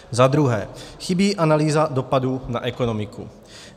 Za druhé, chybí analýza dopadů na ekonomiku.